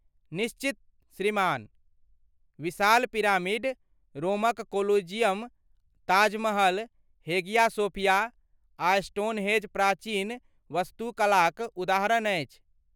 निश्चित, श्रीमान! विशाल पिरामिड, रोमक Colosseum, Taj Mahal, Hagia Sophia आ स्टोनहेंज प्राचीन वास्तुकलाक उदाहरण अछि।